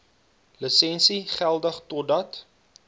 lisensie geldig totdat